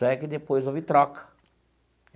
Só é que depois houve troca.